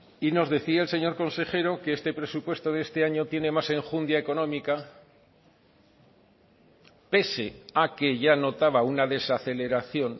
y nos decía el señor consejero que este presupuesto de este año tiene más enjundia económica pese a que ya notaba una desaceleración